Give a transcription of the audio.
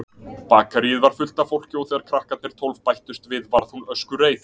Bakaríið var fullt af fólki og þegar krakkarnir tólf bættust við varð hún öskureið.